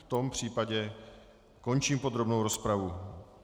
V tom případě končím podrobnou rozpravu.